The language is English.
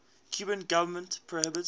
cuban government prohibits